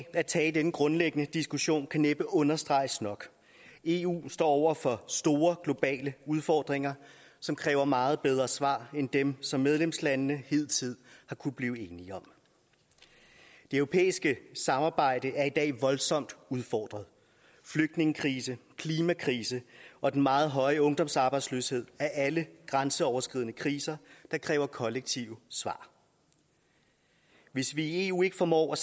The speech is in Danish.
at tage denne grundlæggende diskussion kan næppe understreges nok eu står over for store globale udfordringer som kræver meget bedre svar end dem som medlemslandene hidtil har kunnet blive enige om det europæiske samarbejde er i dag voldsomt udfordret flygtningekrisen klimakrisen og den meget høje ungdomsarbejdsløshed er alle grænseoverskridende kriser der kræver kollektive svar hvis vi i eu ikke formår at